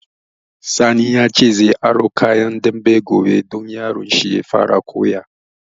Sani ya ce zai aro kayan dambe gobe don yaron shi ya fara koya